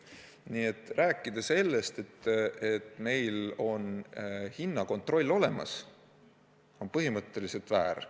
Nii et rääkida sellest, et meil on hinnakontroll olemas, on põhimõtteliselt väär.